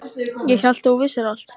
Ég hélt að þú vissir allt.